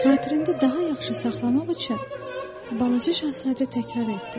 Xatirində daha yaxşı saxlamaq üçün Balaca Şahzadə təkrar etdi.